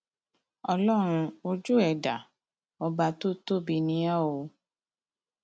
ọlọrun ojú ẹ dá ọba tó tóbi ni o o